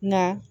Nka